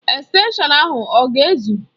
Estenshọn ahụ ọ ga ezụ?